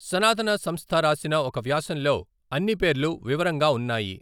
సనాతన సంస్థ రాసిన ఒక వ్యాసంలో అన్ని పేర్లు వివరంగా ఉన్నాయి.